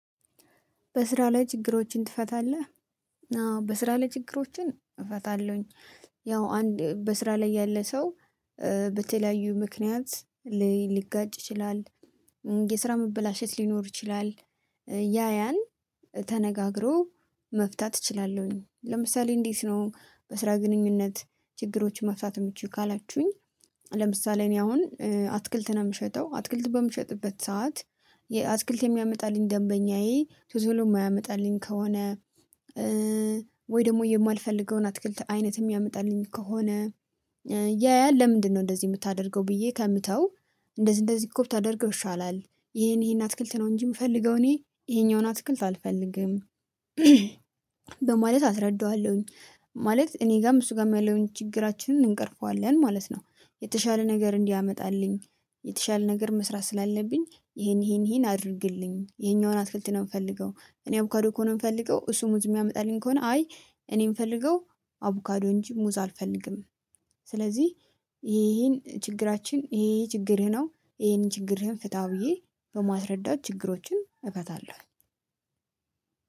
በስራ ላይ ችግሮችን ትፈታለህ? አዎ በስራ ላይ ችግሮችን እፈታለሁኝ። ያው አንድ በስራ ላይ ያለ ሰው በተለያዩ ምክንያት ሊጋጭ ይችላል። የስራ መበላሸት ሊኖር ይችላል። ያ ያን ተነጋግሮ መፍታት እችላለሁኝ። ለምሳሌ እንዴት ነው በስራ ግንኙነት ችግሮችን ማፍታት የሚችይው ካላችሁኝ? ለምሳሌ እኔ አሁን አትክልትን የምሸጠው አትክልት በምሸጥበት ሰዓት። አትክልት የሚያመጣልኝ ደንበኛዬ ቶሎ የማያመጣልኝ ከሆነ። ወይ ደግሞ የማልፈልገውን አትክልት አይነት የሚያመጣልኝ ከሆነ። ያያል ለምንድነው እንደዚህ የምታደርገው? ብዬ ከምተው እንደዚህ እንደዚህ ኮብታደርገው ይሻላል። ይሄን ይሄን አትክልት ነው እንጂ የምፈልገው እኔ ይሄኛውን አትክልት አልፈልግም። በማለት አስረዳዋለሁኝ ማለት እኔ ጋም እሱ ጋም ያለውን ችግራችንን እንቀርፈዋለን ማለት ነው። የተሻለ ነገር እንዲያመጣልኝ። የተሻለ ነገር መስራት ስላለብኝ ይሄን ይሄን ይሄን አድርግልኝ ይሄኛውን አትክልት ነው የምፈልገው እኔ አቡካዶ ከሆነ የምፈልገው እሱ ሙዝ የሚያመጣልኝ ከሆነ አይ እኔ የምፈልገው አቦካዶ እንጂ ሙዝ አልፈልግም። ስለዚህ ይሄ ይሄን ችግራችን ይሄ ይሄ ችግርህ ነው። ይሄን ችግርህን ፍትው ብዬ በማስረዳት ችግሮችን እፈታለሁኝ።